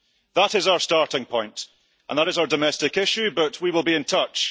That is our starting point and that is our domestic issue, but we will be in touch.